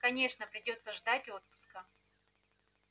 конечно придётся ждать отпуска